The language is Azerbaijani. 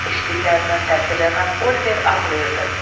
Eşitdiklərindən təsirlənən Oliver ağlayırdı.